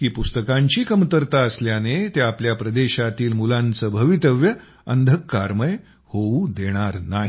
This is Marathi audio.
की पुस्तकांची कमतरता असल्याने ते आपल्या प्रदेशातील मुलांचं भवितव्य अंधकारमय होऊ देणार नाही